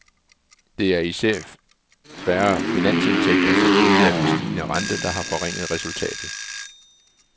Det er især færre finansindtægter som følge af den stigende rente, der har forringet resultatet.